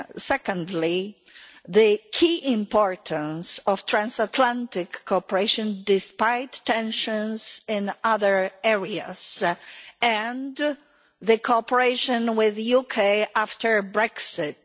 Secondly, the key importance of transatlantic cooperation, despite tensions in other areas, and cooperation with the UK after Brexit.